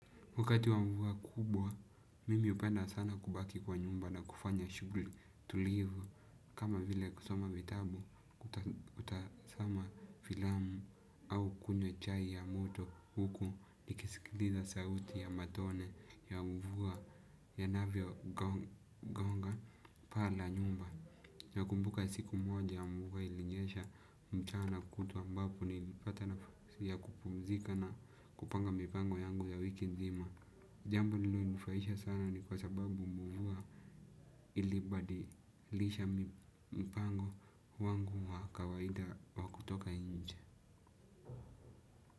Wakati wa mvua kubwa, mimi hupenda sana kubaki kwa nyumba na kufanya shuguli tulivu kama vile kusoma vitabu kutazama filamu au kunywa chai ya moto huku nikisikiliza sauti ya matone ya mvua yanavyo gonga paa la nyumba. Nakumbuka siku moja mvua ilinyesha mchana kutwa ambapo nilipata nafasi ya kupumzika na kupanga mipango yangu ya wiki nzima. Jambo lililonifurahisha sana ni kwa sababu mvua ilibadi lisha mpango wangu wa kawaida wa kutoka nje.